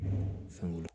Fɛnw